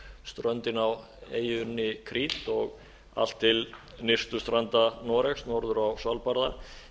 suðurströndin á eyjunni krít og allt til nyrstu stranda noregs norður á svalbarða